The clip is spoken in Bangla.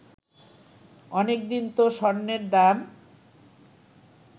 অনেকদিন তো স্বর্ণের দাম